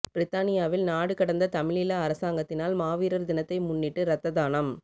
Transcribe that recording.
பிரித்தானியாவில் நாடு கடந்த தமிழீழ அரசாங்கத்தினால் மாவீரர் தினத்தை முன்னிட்டு இரத்த தானம்